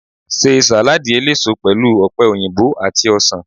Ṣe sàládì eléso pẹlú ọ̀pẹ̀ òyìnbó àti ọsàn.